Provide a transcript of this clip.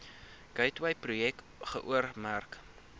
gateway projek geoormerk